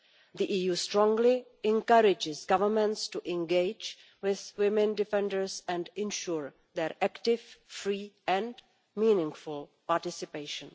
The EU strongly encourages governments to engage with women defenders and ensure their active, free and meaningful participation.